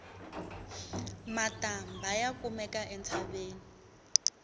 matambha ya kumeka entshaveni